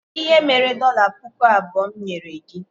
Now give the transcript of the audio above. Kedụ ihe mere dọla pụkụ abụọ mụ nyere gị?